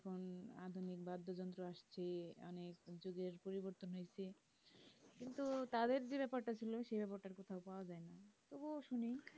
আধুনিক বাদ্যযন্ত্র আসছে পরিবর্তন হয়েছে কিন্তু তাদের যেই বেপারটা ছিল সেই ব্যাপারটা আর কোথাও পাওয়ায় না তবুও শুনি